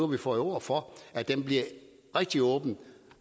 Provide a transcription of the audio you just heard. vi fået ord for at det bliver rigtig åbent